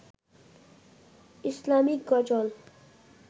ইসলামীক গজল